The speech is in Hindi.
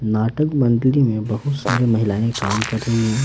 नाटक मंडली में बहुत सारे महिलाएं काम कर रही हैं।